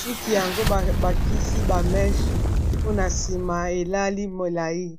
suki yango bakisi ba meche mpona nsima elali molayi.